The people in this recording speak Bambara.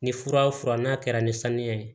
Ni fura fura n'a kɛra ni saniya ye